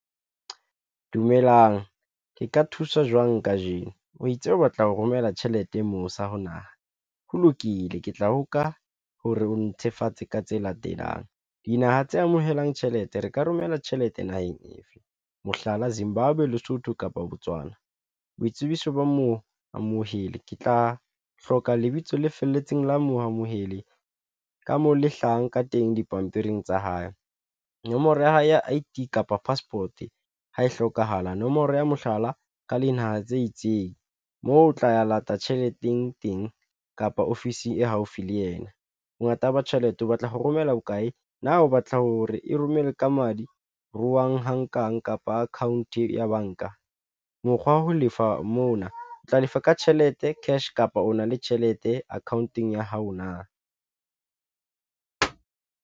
Dumelang ke ka thuswa jwang kajeno? O itse o batla ho romela tjhelete mose ho naha ho lokile, ke tla hoka ho re o netefatse ka tse latelang dinaha tse amohelang tjhelete re ka romela tjhelete naheng efe mohlala, Zimbabwe, be Lesotho kapa Botswana. Boitsebiso ba moo amohele ke tla hloka lebitso le felletseng la mo amohele ka moo le hlahang ka teng dipampiring tsa hae. Nomoro ya hae ya I_D kapa Passport ho hlokahala nomoro ya mohlala ka dinaha tse itseng moo o tla lata tjheleteng teng kapa ofisi e haufi le yena. Bongata ba tjhelete o batla ho romela bokae? Na o batla ho re e romele ka madi? Ruhang ho nkang kapa account ya banka? Mokgwa wa ho lefa mona o tla lefa ka tjhelete cash kapa o na le tjhelete akhaonteng ya hao na?